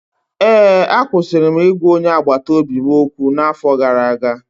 Ee, akwụsịrị m ịgwa onye agbata obi m okwu n’afọ gara aga